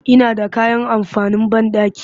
Ina da kayan amfanin banɗaki